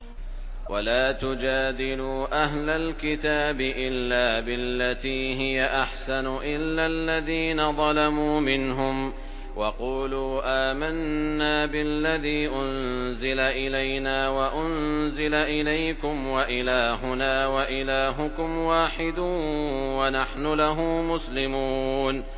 ۞ وَلَا تُجَادِلُوا أَهْلَ الْكِتَابِ إِلَّا بِالَّتِي هِيَ أَحْسَنُ إِلَّا الَّذِينَ ظَلَمُوا مِنْهُمْ ۖ وَقُولُوا آمَنَّا بِالَّذِي أُنزِلَ إِلَيْنَا وَأُنزِلَ إِلَيْكُمْ وَإِلَٰهُنَا وَإِلَٰهُكُمْ وَاحِدٌ وَنَحْنُ لَهُ مُسْلِمُونَ